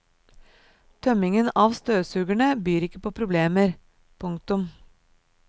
Tømmingen av støvsugerne byr ikke på problemer. punktum